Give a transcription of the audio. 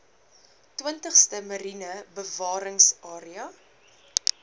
twintigste mariene bewaringsarea